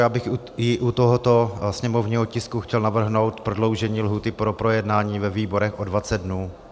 Já bych i u tohoto sněmovního tisku chtěl navrhnout prodloužení lhůty pro projednání ve výborech o 20 dnů.